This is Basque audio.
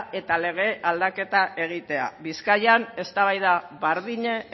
eta lege aldaketa egitea bizkaian eztabaida berdina